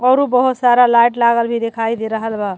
औरु बहुत सारा लाइट लागल दिखाई दे रहल बा --